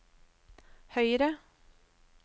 høyre